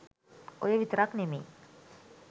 ඔය විතරක් නෙමෙයි